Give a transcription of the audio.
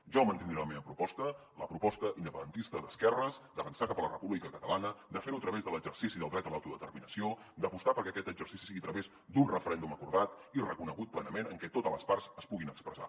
jo mantindré la meva proposta la proposta independentista d’esquerres d’avançar cap a la república catalana de fer ho a través de l’exercici del dret a l’autodeterminació d’apostar perquè aquest exercici sigui a través d’un referèndum acordat i reconegut plenament en què totes les parts es puguin expressar